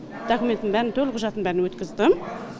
докуметтің бәрін төлқұжатын бәрін өткіздім